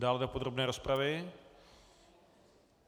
Dále do podrobné rozpravy?